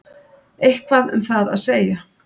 Eitthvað um það að segja?